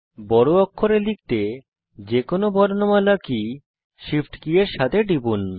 বড় অক্ষরে লিখতে যে কোনো বর্ণমালা কী shift কী এর সাথে টিপুন